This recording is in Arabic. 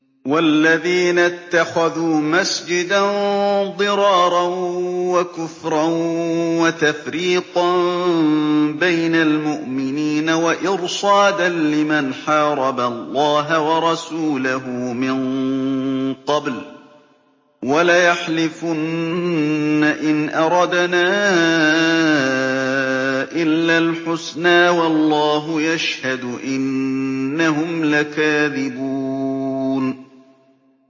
وَالَّذِينَ اتَّخَذُوا مَسْجِدًا ضِرَارًا وَكُفْرًا وَتَفْرِيقًا بَيْنَ الْمُؤْمِنِينَ وَإِرْصَادًا لِّمَنْ حَارَبَ اللَّهَ وَرَسُولَهُ مِن قَبْلُ ۚ وَلَيَحْلِفُنَّ إِنْ أَرَدْنَا إِلَّا الْحُسْنَىٰ ۖ وَاللَّهُ يَشْهَدُ إِنَّهُمْ لَكَاذِبُونَ